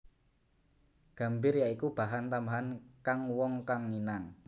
Gambir ya iku bahan tambahan kang wong kang nginang